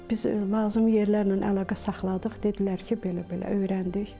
Biz lazım yerlərlə əlaqə saxladıq, dedilər ki, belə-belə öyrəndik.